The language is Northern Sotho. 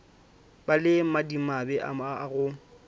ba le madimabe a go